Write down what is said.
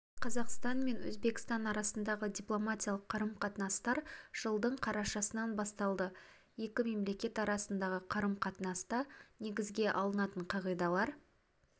қазақстан мен өзбекстан арасындағы дипломатиялық қарым-қатынастар жылдың қарашасынан басталды екі мемлекет арасындағы қарым-қатынаста негізге алынатын қағидалар